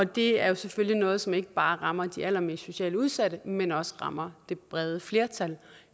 det er selvfølgelig noget som ikke bare rammer de allermest socialt udsatte men også rammer det brede flertal